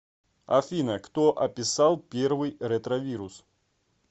афина кто описал первый ретровирус